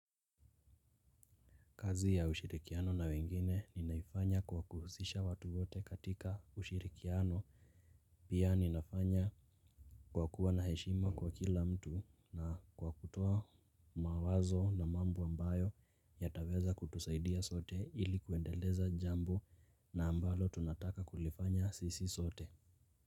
Kazi ya ushirikiano na wengine ninaifanya kwa kuhusisha watu wote katika ushirikiano pia ninafanya kwa kuwa na heshima kwa kila mtu na kwa kutoa mawazo na mambo ambayo yataweza kutusaidia sote ilikuendeleza jambo na ambalo tunataka kulifanya sisi sote.